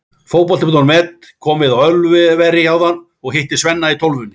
Fótbolti.net kom við á Ölveri áðan og hitti Svenna í Tólfunni.